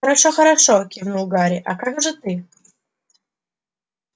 хорошо хорошо кивнул гарри а как же ты